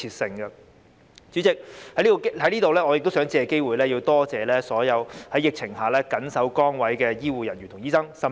代理主席，我想藉此機會感謝所有在疫情下緊守崗位的醫護人員和醫生。